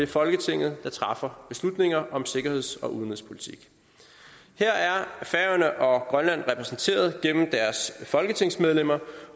folketinget træffer beslutninger om sikkerheds og udenrigspolitik her er færøerne og grønland repræsenteret gennem deres folketingsmedlemmer